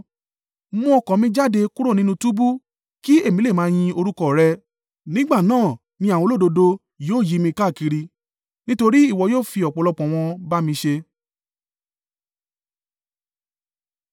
Mú ọkàn mi jáde kúrò nínú túbú, kí èmi lè máa yin orúkọ rẹ. Nígbà náà ni àwọn olódodo yóò yí mi káàkiri nítorí ìwọ yóò fi ọ̀pọ̀lọpọ̀ wọn ba mi ṣe.